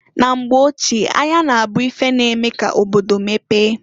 Na mgbe ochie, ahịa na-abu ife na-eme ka obodo mepee.